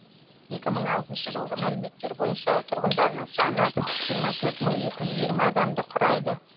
екі мың алтыншы жылғы мәліметтер бойынша тұрғындарының саны жиырма төрт мың екі жүз жиырма адамды құрайды